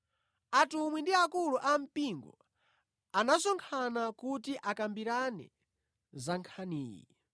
Atumwi ndi akulu ampingo anasonkhana kuti akambirane za nkhaniyi.